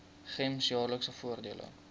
gems jaarlikse voordele